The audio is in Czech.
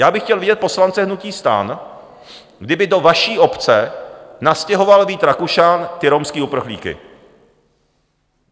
Já bych chtěl vidět poslance hnutí STAN, kdyby do vaší obce nastěhoval Vít Rakušan ty romské uprchlíky.